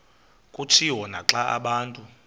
kutshiwo naxa abantu